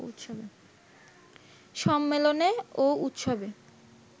সম্মেলনে ও উৎসবে